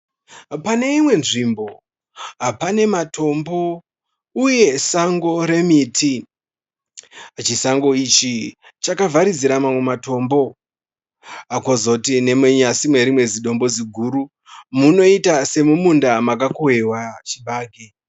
Pane imwe nzvimbo pane matombo uye sango remiti. Chisango ichi chakavharidzira mamwe matombo. Kozoti nemunyasi merimwe zidombo ziguru munoita semumunda makakohwewa chibage.